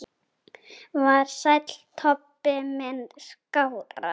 Var Sæll Tobbi minn skárra?